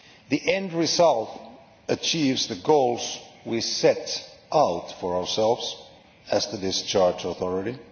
The end result achieves the goals we set out for ourselves as the discharge authority.